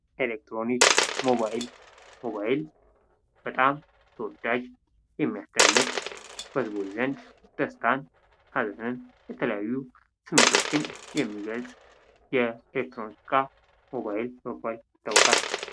ኤሌክትሮኒክስ ሞባይል ሞባይል በጣም ተወዳጅ ፣ የሚያስደንቅ ፣ በሕዝቦች ዘንድ ደስታን ሐዘንን የተለያዩ ስሜቶችን የሚገልፅ የኤሌክትሮኒክስ እቃ ሞባይል በመባል ይታወቃል።